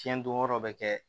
Fiɲɛ don yɔrɔ bɛ kɛ